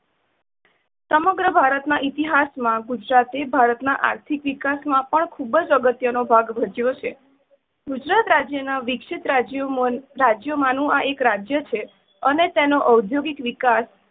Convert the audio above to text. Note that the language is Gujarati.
સમગ્ર ભારત ના ઇતિહાસ માં ગુજરાતે ભારત ના આર્થિક વિકાસ માં પણ ખુબ જ અગત્ય નો ભાગ ભજવો છે. ગુજરાત રાજ્ય માં વિક્સિત રાજ્ય ~રાજ્યમાં નુ એક રાજય છે. અને તેનો અધોગિક વિકાસ